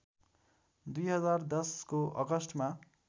२०१०को अगस्टमा